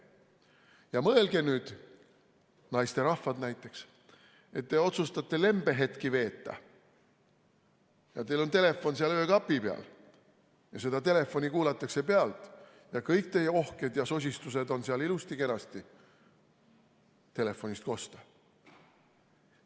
Ja mõelge nüüd, naisterahvad näiteks, et te otsustate lembehetki veeta ja teil on telefon seal öökapi peal ja seda telefoni kuulatakse pealt ning kõik teie ohked ja sosistused on seal ilusti-kenasti telefonist kosta.